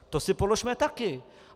To si položme také!